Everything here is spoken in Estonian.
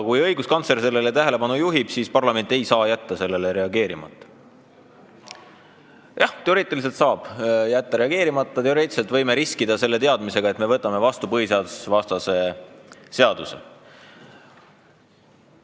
Kui õiguskantsler on sellele tähelepanu juhtinud, siis parlament ei saa jätta sellele reageerimata, kuigi jah, teoreetiliselt saab jätta reageerimata, teoreetiliselt võime riskida teadmisega, et me võtame vastu põhiseadusvastase seaduse.